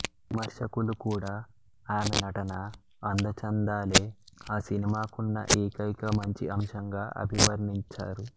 విమర్శకులు కూడా ఆమె నటన అందచందాలే ఆ సినిమాకున్న ఏకైక మంచి అంశంగా అభివర్ణించారు